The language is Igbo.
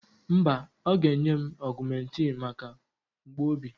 Mba, ọ ga-enye m augmentin maka mgbu obi.